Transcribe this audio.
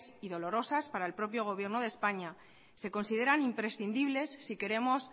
y dolorosas para el propio gobierno de españa se consideran imprescindibles si queremos